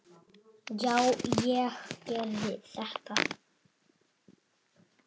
Já, ég gerði þetta!